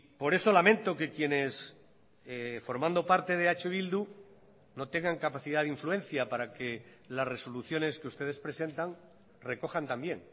por eso lamento que quienes formando parte de eh bildu no tengan capacidad de influencia para que las resoluciones que ustedes presentan recojan también